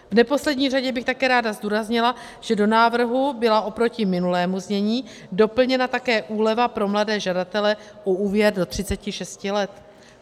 V neposlední řadě bych také ráda zdůraznila, že do návrhu byla oproti minulému znění doplněna také úleva pro mladé žadatele o úvěr do 36 let.